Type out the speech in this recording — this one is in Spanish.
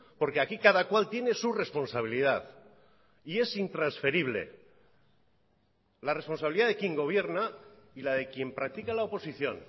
porque aquí cada cual tiene su responsabilidad y es intransferible la responsabilidad de quien gobierna y la de quien practica la oposición